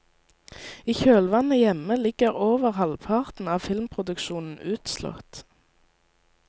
I kjølvannet hjemme ligger over halvparten av filmproduksjonen utslått.